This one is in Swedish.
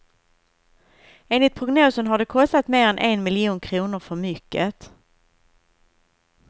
Enligt prognosen har det kostat mer än en miljon kronor för mycket.